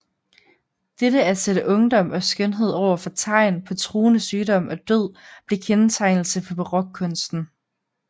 Dette at sætte ungdom og skønhed over for tegn på truende sygdom og død blev kendetegnende for barokkunsten